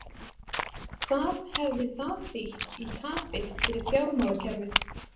Hvað hefði það þýtt í tapi fyrir fjármálakerfið?